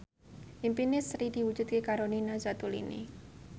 impine Sri diwujudke karo Nina Zatulini